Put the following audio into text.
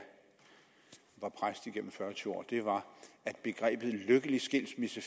var præst igennem fyrre år var at begrebet en lykkelig skilsmisse